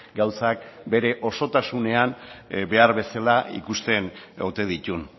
gauzak bere osotasunean behar bezala ikusten ote dituen